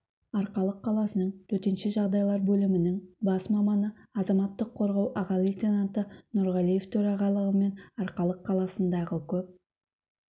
арқалық қаласының төтенше жағдайлар бөлімінің бас маманы азаматтық қорғау аға лейтенанты нурғалиев төрағалығымен арқалық қаласындағы көп